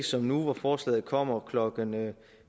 som nu hvor forslaget kommer klokken